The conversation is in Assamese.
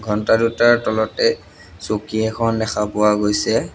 ঘণ্টা দুটাৰ তলতে চকী এখন দেখা পোৱা গৈছে।